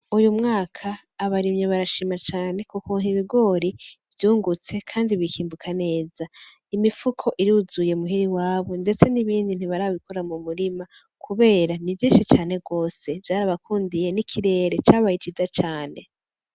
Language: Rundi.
Uyu mwaka abarimyi barashima cane ku kuntu ibigori vyungutse kandi bikimbuka neza imifuko iruzuye muhira iwabo ndetse nibindi ntibarabikura mu murima kubera ni vyinshi cane gose vyarabakundiye n'ikirere cabaye ciza cane.